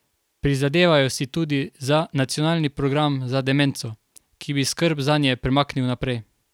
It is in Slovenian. Prizadevajo si tudi za nacionalni program za demenco, ki bi skrb zanje premaknil naprej.